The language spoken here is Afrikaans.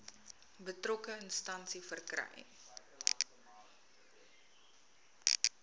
betrokke instansie verkry